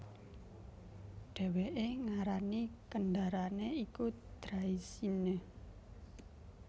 Dhèwèké ngarani kendaraané iku Draisienne